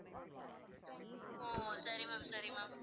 ஓ சரி ma'am சரி ma'am